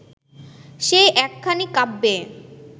সেই একখানি কাব্যে